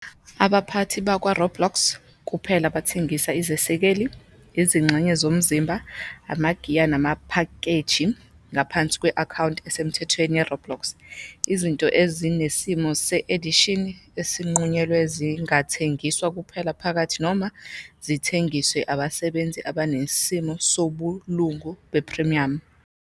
Abaphathi bakwaRoblox kuphela abangathengisa izesekeli, izingxenye zomzimba, amagiya namaphakeji ngaphansi kwe-akhawunti esemthethweni yeRoblox. Izinto ezinesimo se-edition esinqunyelwe zingathengiswa kuphela phakathi noma zithengiswe abasebenzisi abanesimo sobulungu be-premium.